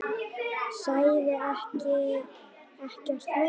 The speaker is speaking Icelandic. Sagði ekkert meira.